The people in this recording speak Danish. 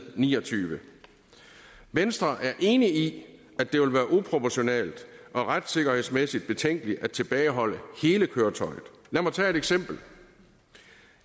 niogtyvende venstre er enig i at det vil være uproportionalt og retssikkerhedsmæssigt betænkeligt at tilbageholde hele køretøjet lad mig tage et eksempel